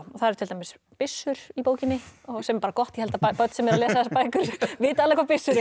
það eru til dæmis byssur í bókinni sem er bara gott ég held að börn sem eru að lesa þessar bækur vita alveg hvað byssur eru